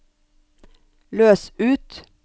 løs ut